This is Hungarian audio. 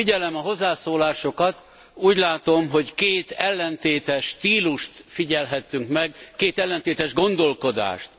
Ahogy figyelem a hozzászólásokat, úgy látom, hogy két ellentétes stílust figyelhettünk meg, két ellentétes gondolkodást.